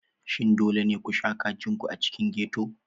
Shin dole ne ku kashe kajin ku a cikin ghetto?